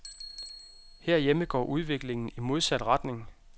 Herhjemme går udviklingen i modsat retning.